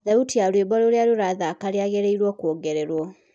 thaũtĩ ya rwĩmbo rũrĩa rurathaka rĩagĩrĩrwo kuongererwo